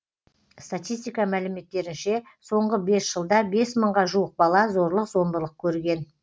статистика мәліметтерінше соңғы бес жылда бес мыңға жуық бала зорлық зомбылық көрген